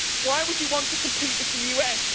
Why would you want to compete with the USA?